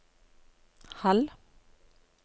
halv